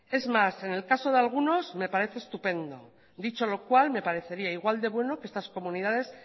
es más en el caso de algunos me parece estupendo dicho lo cual me parecería igual de bueno que estas comunidades